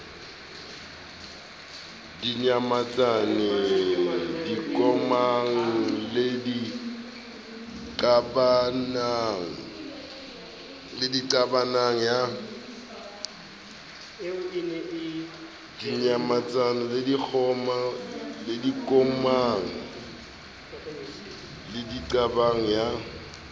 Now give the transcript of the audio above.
dinyamatsane dikomang le diqabang ya